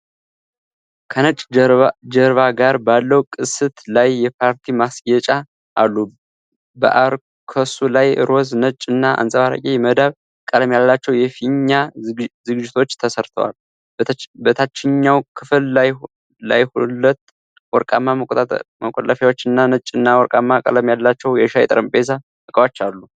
ከነጭ ጀርባ ጋር ባለው ቅስት ላይ የፓርቲ ማስጌጫ አሉ። በአርከሱ ላይ ሮዝ፣ ነጭ እና አንጸባራቂ የመዳብ ቀለም ያላቸው የፊኛ ዝግጅቶች ተሰርተዋል። በታችኛው ክፍል ላይሁለት ወርቃማ መቆሚያዎች እና ነጭና ወርቃማ ቀለም ያላቸው የሻይ ጠረጴዛ ዕቃዎች አሉ።